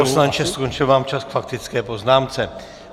Pane poslanče, skončil vám čas k faktické poznámce.